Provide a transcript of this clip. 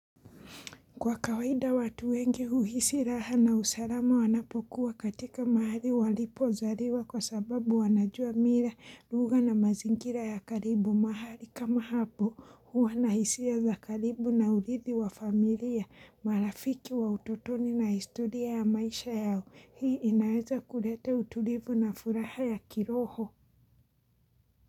Kwa kawaida watu wengi uhisi raha na usalama wanapokuwa katika mahali walipo zaliwa kwa sababu wanajua mila lugha na mazingira ya karibu mahali kama hapo huwa na hisia za karibu na urithi wa familia marafiki wa utotoni na historia ya maisha yao hii inaweza kulete utulivu na furaha ya kiroho.